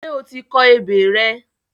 Ṣé o ti kọ ebè rẹ?